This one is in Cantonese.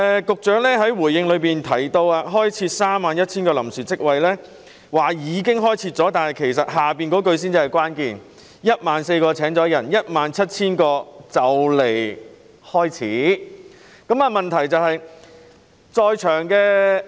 局長在主體答覆中表示，已開設31000個臨時職位，但後續部分才是關鍵所在："當中約14000個已入職，而餘下約17000個的招聘工作已經或快將展開"。